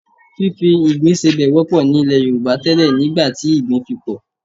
Fífi ìgbín sebẹ̀ wọ́pọ̀ nílẹ̀ Yorùbá tẹ́lẹ̀ nígbà tí ìgbín fi pọ̀